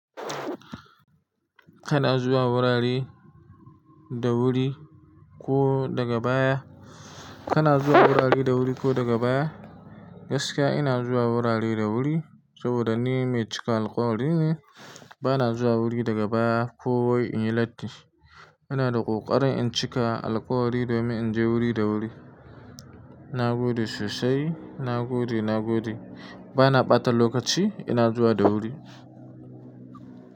Kana zuwa wurare da wuri ko daga baya? Kana zuwa wurare da wuri ko daga baya? Gaskiya ina zuwa wurare da wuri saboda ni mecika alƙawari ne. Bana zuwa wuri daga baya ko wai in yi latti. Ina da ƙoƙarin in cika alkawari domin in je wuri da wuri. Na gode sosai, na gode, na gode. Bana ɓata lokaci, ina zuwa da wuri.